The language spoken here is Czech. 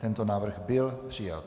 Tento návrh byl přijat.